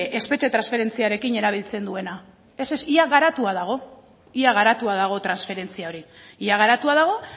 espetxe transferentziarekin erabiltzen duena ez ez ia garatua dago ia garatua dago transferentzia hori ia garatua dago